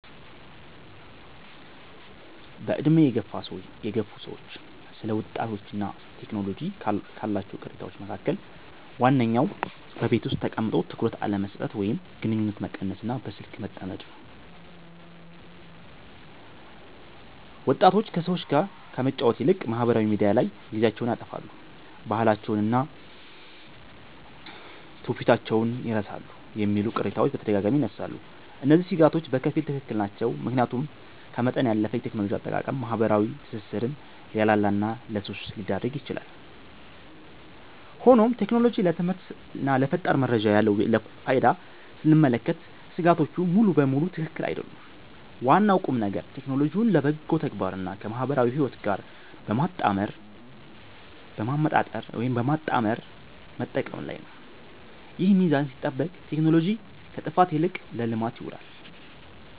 በዕድሜ የገፉ ሰዎች ስለ ወጣቶችና ቴክኖሎጂ ካሏቸው ቅሬታዎች መካከል ዋነኛው በቤት ውስጥ ተቀምጦ ትኩረት አለመስጠት ወይም ግንኙነት መቀነስና በስልክ መጠመድ ነው። ወጣቶች ከሰዎች ጋር ከመጫወት ይልቅ ማኅበራዊ ሚዲያ ላይ ጊዜያቸውን ያጠፋሉ፣ ባህላቸውንና ትውፊታቸውን ይረሳሉ የሚሉ ቅሬታዎች በተደጋጋሚ ይነሳሉ። እነዚህ ሥጋቶች በከፊል ትክክል ናቸው፤ ምክንያቱም ከመጠን ያለፈ የቴክኖሎጂ አጠቃቀም ማኅበራዊ ትስስርን ሊያላላና ለሱስ ሊዳርግ ይችላል። ሆኖም ቴክኖሎጂ ለትምህርትና ለፈጣን መረጃ ያለውን ፋይዳ ስንመለከት ሥጋቶቹ ሙሉ በሙሉ ትክክል አይደሉም። ዋናው ቁምነገር ቴክኖሎጂውን ለበጎ ተግባርና ከማኅበራዊ ሕይወት ጋር በማመጣጠር መጠቀም ላይ ነው። ይህ ሚዛን ሲጠበቅ ቴክኖሎጂ ከጥፋት ይልቅ ለልማት ይውላል።